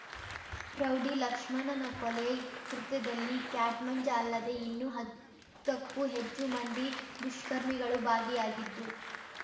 rowdy ಲಕ್ಷ್ಮಣನ ಕೊಲೆ ಕೃತ್ಯದಲ್ಲಿ ಕ್ಯಾಟ್ ಮಂಜ ಅಲ್ಲದೆ ಇನ್ನೂ ಹತ್ತಕ್ಕೂ ಹೆಚ್ಚು ಮಂದಿ ದುಷ್ಕರ್ಮಿಗಳು ಭಾಗಿಯಾಗಿದ್ದು